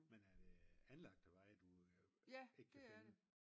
Men er det anlagte veje du ikke kan finde?